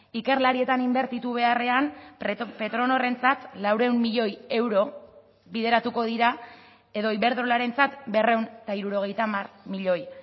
ikerlarietan inbertitu beharrean petronorrentzat laurehun milioi euro bideratuko dira edo iberdrolarentzat berrehun eta hirurogeita hamar milioi